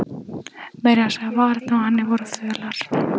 Meira að segja varirnar á henni voru fölar.